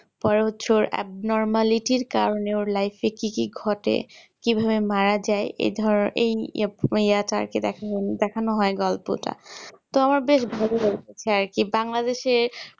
পরে হচ্ছে ওর abnormally এর কারণে ওর life এ কি কি ঘটে কি ভাবে মারা যাই এই ধরো এই এইটা আরকি দেখানো হো গল্পটা তো আমার বেশ ভালো লেগেছে আর কি Bangladesh এ